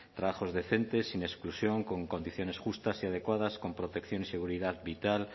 trabajos decentes sin exclusión con condiciones justas y adecuadas con protección y seguridad vital